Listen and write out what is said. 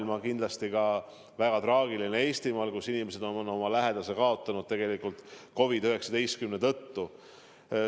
See on kindlasti väga traagiline ka Eestimaal, kus inimesed on oma lähedase kaotanud COVID-19 tõttu.